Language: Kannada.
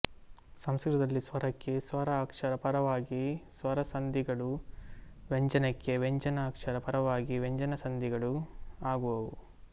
ಸಂಸ್ಕೃತದಲ್ಲಿ ಸ್ವರಕ್ಕೆ ಸ್ವರ ಅಕ್ಷರ ಪರವಾಗಿ ಸ್ವರಸಂಧಿಗಳೂ ವ್ಯಂಜನಕ್ಕೆ ವ್ಯಂಜನ ಅಕ್ಷರ ಪರವಾಗಿ ವ್ಯಂಜನಸಂಧಿಗಳೂ ಆಗುವುವು